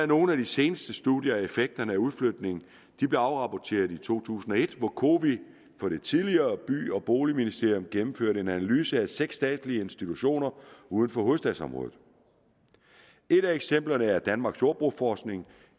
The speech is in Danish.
nogle af de seneste studier af effekterne af udflytningen afrapporteret i to tusind og et hvor cowi for det tidligere by og boligministerium gennemførte en analyse af seks statslige institutioner uden for hovedstadsområdet et af eksemplerne er danmarks jordbrugsforskning